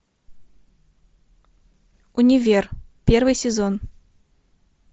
универ первый сезон